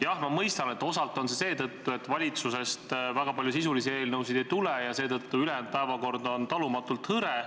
Jah, ma mõistan, et osalt on see seetõttu, et valitsusest väga palju sisulisi eelnõusid ei tule ja seepärast on ülejäänud päevad talumatult hõredad.